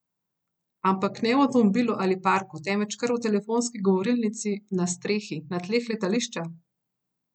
Ampak ne v avtomobilu ali parku, temveč kar v telefonski govorilnici, na strehi, na tleh letališča?